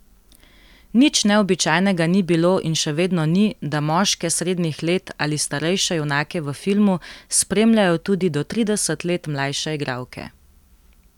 Nič neobičajnega ni bilo in še vedno ni, da moške srednjih let ali starejše junake v filmu spremljajo tudi do trideset let mlajše igralke.